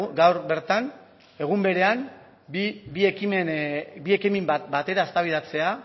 gaur bertan egun berean bi ekimen batera eztabaidatzea